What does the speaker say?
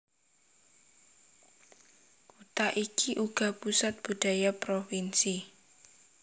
Kutha iki uga pusat budaya provinsi